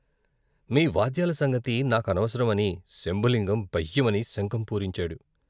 మీ వాద్యాల సంగతి నా కనవసరం అని శంభులింగం బయ్యిమని శంఖం పూరించాడు.